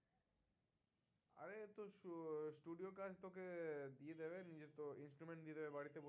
Instrument দিয়ে দেবে বাড়িতে বসে